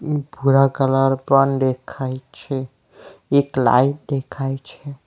ભૂરા કલર પન દેખાય છે એક લાઈટ દેખાય છે.